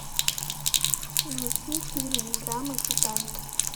найти фильм драма титаник